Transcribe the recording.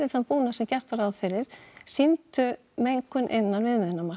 þann búnað sem gert var ráð fyrir sýndu mengun innan